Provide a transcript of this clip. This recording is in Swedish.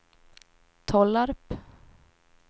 Tollarp